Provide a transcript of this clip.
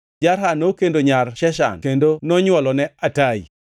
Jarha nokendo nyar Sheshan kendo nonywolone Atai.